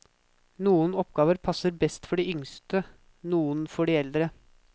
Noen oppgaver passer best for de yngste, noen for de eldre.